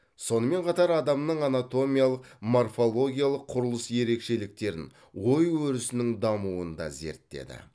сонымен қатар адамның анатомиялық морфологиялық құрылыс ерекшеліктерін ой өрісінің дамуын да зерттеді